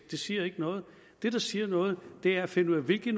siger ikke noget det der siger noget er at finde ud af hvilke